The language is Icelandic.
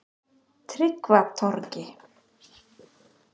Tryggvatorgi